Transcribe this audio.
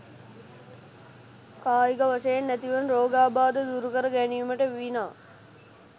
කායික වශයෙන් ඇතිවන රෝගාබාධ දුරුකර ගැනීමට විනා